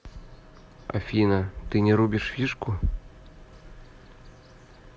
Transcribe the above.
афина ты не рубишь фишку